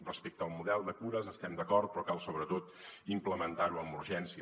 respecte al model de cures estem d’acord però cal sobretot implementar·ho amb urgència